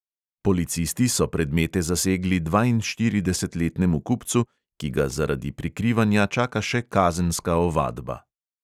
Policisti so predmete zasegli dvainštiridesetletnemu kupcu, ki ga zaradi prikrivanja čaka še kazenska ovadba.